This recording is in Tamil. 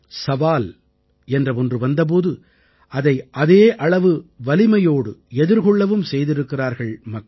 சவால் என்ற ஒன்று வந்த போது அதை அதே அளவு வலிமையோடு எதிர்கொள்ளவும் செய்திருக்கிறார்கள் மக்கள்